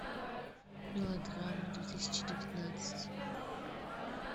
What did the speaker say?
мелодрамы две тысячи девятнадцать